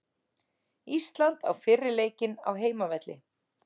Ísland á fyrri leikinn á heimavelli